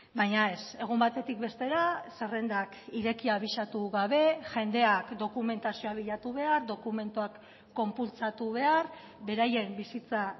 baina ez egun batetik bestera zerrendak ireki abisatu gabe jendeak dokumentazioa bilatu behar dokumentuak konpultsatu behar beraien bizitza